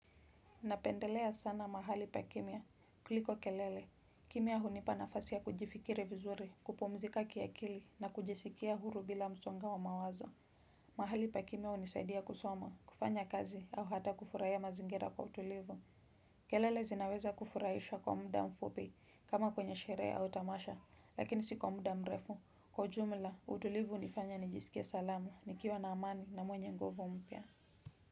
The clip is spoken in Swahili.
Napendelea sana mahali pa kimya. Kuliko kelele. Kimya hunipa nafasi ya kujifikiri vizuri, kupumzika kiakili na kujisikia huru bila msongo wa mawazo. Mahali pa kimya hunisadia kusoma, kufanya kazi au hata kufurahia mazingira kwa utulivu. Kelele zinaweza kufurahisha kwa muda mfupi kama kwenye sherehe au tamasha, lakini si kwa muda mrefu. Kwa ujumla, utulivu nifanya nijisikia salamu, nikiwa na amani na mwenye nguvo mpya.